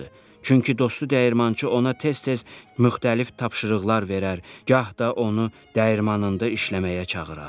Çünki dostu dəyirmançı ona tez-tez müxtəlif tapşırıqlar verər, gah da onu dəyirmanında işləməyə çağırardı.